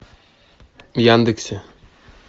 в яндексе